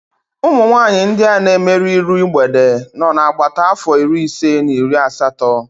Umunwanyị ndị a na emerụ iru mgbede nọ na agbata afọ iri ise na iri asatọ